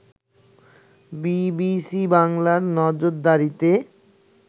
BBC বাংলার নজরদারিতে